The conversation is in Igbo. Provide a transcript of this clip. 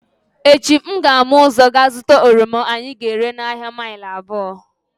Echi m ga-ama ụzọ gaa zụta oroma anyị ga-ere n’ahịa mile abụo